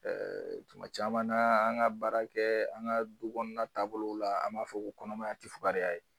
tuma caman na an ka baara kɛ an ka du kɔnɔna taabolow la an b'a fɔ ko kɔnɔmaya tɛ fugariya ye.